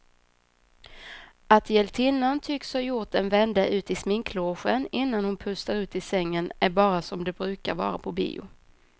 Att hjältinnan tycks ha gjort en vända ut i sminklogen innan hon pustar ut i sängen är bara som det brukar vara på bio.